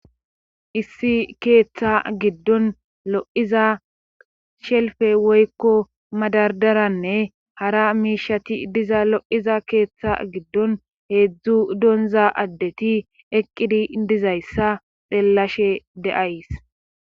Issi keeththa giddon lo7iza shelfe woykko madardaranne hara miishati diza lo7iza keeththa giddon heedzdzu donza addeti eqqidi dizayssa xeellashe deays